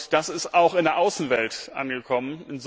Das ist auch in der Außenwelt angekommen.